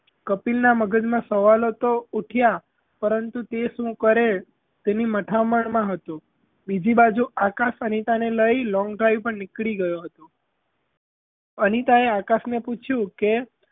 કપિલનાં મગજમાં તો સવાલો ઊઠયાં જ પરંતુ તે શું કરે તેની મથામણમાં હતો બીજી બાજુ આકાશ અનિતાને લઈ long drive પર નીકળી ગયો હતો અનિતાએ આકાશ ને પૂછ્યું કે,